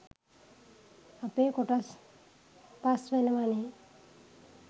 අපේ කොටස් පස් වෙනවනේ